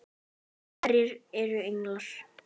Hverjir eru englar?